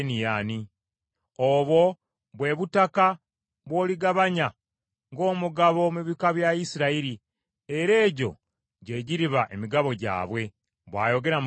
“Obwo bwe butaka bw’oligabanya ng’omugabo mu bika bya Isirayiri, era egyo gye giriba emigabo gyabwe,” bw’ayogera Mukama Katonda.